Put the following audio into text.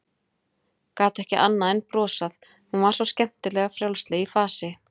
Gat ekki annað en brosað, hún var svo skemmtilega frjálsleg í fasi.